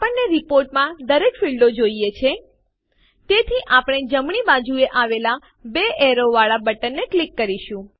આપણને રીપોર્ટ માં દરેક ફીલ્ડો જોઈએ છે તેથી આપણે જમણી બાજુએ આવેલા બે એરો વાળા બટનને ક્લિક કરીશું